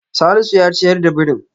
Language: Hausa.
Salisu ya ciyar da birin.